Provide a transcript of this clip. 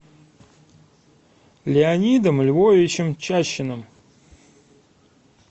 леонидом львовичем чащиным